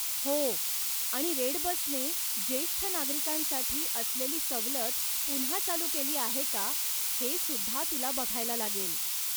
हो, आणि रेडबसने जेष्ठ नागरिकांसाठी असलेली सवलत पुन्हा चालू केली आहे का हे सुद्धा तुला बघायला लागेल.